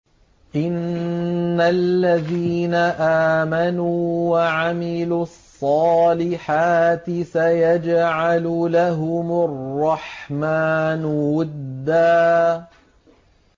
إِنَّ الَّذِينَ آمَنُوا وَعَمِلُوا الصَّالِحَاتِ سَيَجْعَلُ لَهُمُ الرَّحْمَٰنُ وُدًّا